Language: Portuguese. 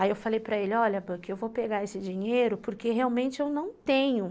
Aí eu falei para ele, olha Back, porque eu vou pegar esse dinheiro, porque realmente eu não tenho.